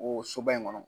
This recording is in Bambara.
O soba in kɔnɔ